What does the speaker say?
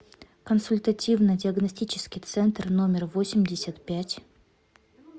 консультативно диагностический центр номер восемьдесят пять